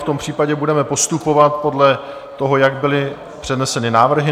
V tom případě budeme postupovat podle toho, jak byly předneseny návrhy.